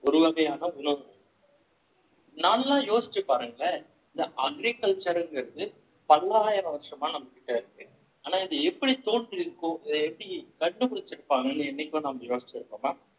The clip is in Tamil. ஒரு வகையான உணவு உண்டு நல்லா யோசிச்சு பாருங்களேன் இந்த agriculture ங்கிறது பல்லாயிரம் வருஷமா நம்ம கிட்ட இருக்கு ஆனா இது எப்படி தோன்றியிருக்கும் இத எப்படி கண்டுபிடிச்சிருக்கோம்ன்னு என்னைக்கோ நம்ம யோசிச்சிருக்கோமா